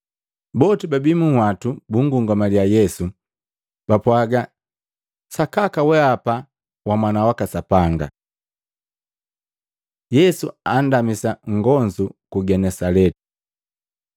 Boti bababii munhwatu bungungamaliya Yesu, bapwaaga, “Sakaka wehapa wa Mwana waka Sapanga.” Yesu andamisa agonzu ku Genesaleti Maluko 6:53-56